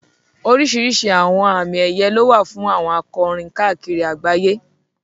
Oríṣiríṣi àwọn àmì ẹ̀yẹ lówà fún àwọn akọrin káàkiri àgbáyé.